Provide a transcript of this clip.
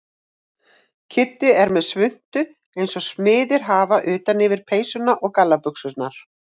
Kiddi er með svuntu eins og smiðir hafa utan yfir peysuna og gallabuxurnar.